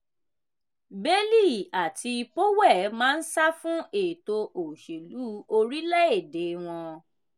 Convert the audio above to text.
bailey àti powell máa ń sá fún ètò òṣèlú orílẹ̀-èdè wọn.